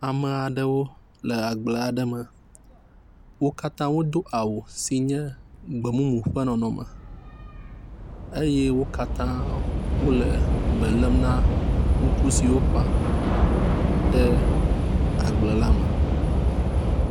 Ame aɖewo le agble aɖe me. Wo katã wodo awu si nye gbe mumu ƒe nɔnɔme eye wo katã hã wole belem na ŋku siwo wofã ɖe agble la me.